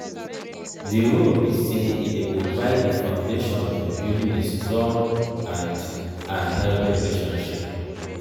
di role be say e dey provide di foundation for building a strong and and healthy relationship.